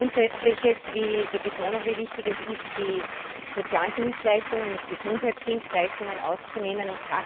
Grundsätzliches wie die Betonung, wie wichtig es ist, die sozialen Dienstleistungen und die Gesundheitsdienstleistungen auszunehmen.